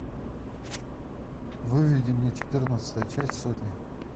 выведи мне четырнадцатая часть сотня